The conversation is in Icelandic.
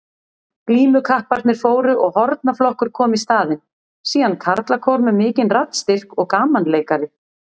Glímukapparnir fóru og hornaflokkur kom í staðinn, síðan karlakór með mikinn raddstyrk og gamanleikari.